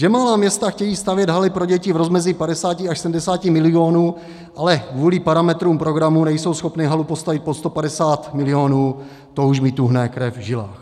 Že malá města chtějí stavět haly pro děti v rozmezí 50 až 70 milionů, ale kvůli parametrům programu nejsou schopny halu postavit pod 150 milionů, to už mi tuhne krev v žilách.